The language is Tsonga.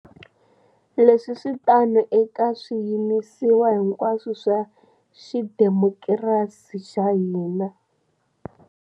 Leswi swi tano eka swiyimisiwa hinkwaswo swa xidemokirasi xa hina.